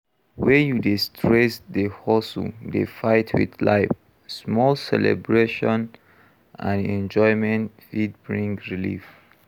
When you dey stress dey hustle dey fight with life, small celebration and enjoyment fit bring relief